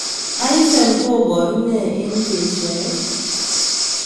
Hyphen kobaru nee en beshaet